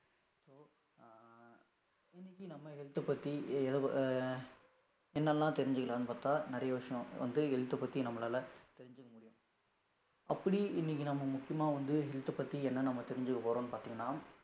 இன்னைக்கு நம்ம health அ பத்தி என்னெல்லாம் தெரிஞ்சுக்கலாம்ன்னு பார்த்தால், நிறைய விஷயம் வந்து health அ பத்தி நம்மளால, தெரிஞ்சுக்க முடியும். அப்படி இன்னைக்கு நம்ம முக்கியமா வந்து health அ பத்தி, என்ன நம்ம தெரிஞ்சுக்க போறோம்னு பார்த்தீங்கன்னா